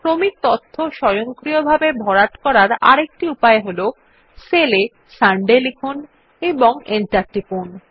ক্রমিক তথ্য স্বয়ংক্রিয়ভাবে ভরার আরেকটি উপায় হল সেল এ সান্ডে লিখুন এবং এন্টার টিপুন